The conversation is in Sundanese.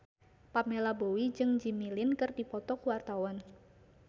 Pamela Bowie jeung Jimmy Lin keur dipoto ku wartawan